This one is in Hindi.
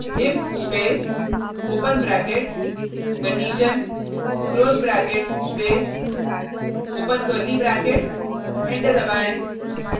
if space open bracket condition close bracket space open curly bracket enter दबाएँ